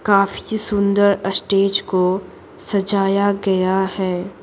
काफी सुंदर स्टेज को सजाया गया है।